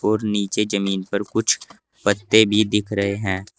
और नीचे जमीन पर कुछ पत्ते भी दिख रहे हैं।